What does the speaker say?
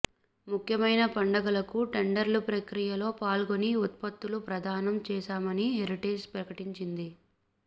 ముఖ్యమైన పండుగలకు టెండర్ల ప్రక్రియలో పాల్గొని ఉత్పత్తులు ప్రదానం చేశామని హెరిటేజ్ ప్రకటించింది